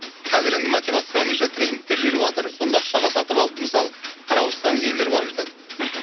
қазір енді мотивационный тренингтер жүріватыр соны ақшаға сатып алып мысалы қарап отырсаңыз елдер барып жатады мхм